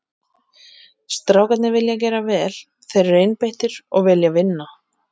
Strákarnir vilja gera vel, þeir eru einbeittir og vilja vinna.